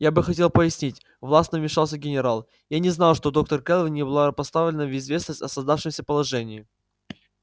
я бы хотел пояснить властно вмешался генерал я не знал что доктор кэлвин не была поставлена в известность о создавшемся положении